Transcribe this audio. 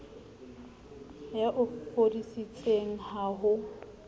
ya o foseditseng ha ho